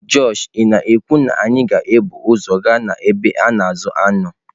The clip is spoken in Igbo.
Josh ị na-ekwu na anyị ga-ebu ụzọ gaa ebe a na-azụ anụ?